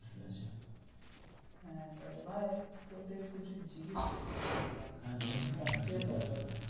হ্যা তাহলে ভাই তোর থেকে কিছু জিজ্ঞাসা করার ছিল ভাই, ব্যাংকের ব্যাপারে.